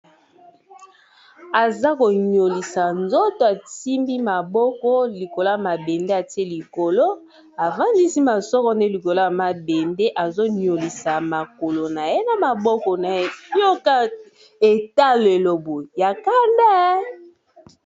Aza bonyolisa nzoto asimbi maboko likolo ya mabende atie likolo efandisi masoro nde likolo ya mabende azoniolisa makolo na ye na maboko na epoka etalelobo ya kanda.